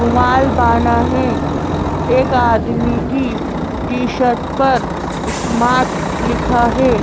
रुमाल बाना है एक आदमी की टी-शर्ट पर स्मार्ट लिखा है।